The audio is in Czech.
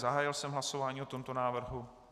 Zahájil jsem hlasování o tomto návrhu.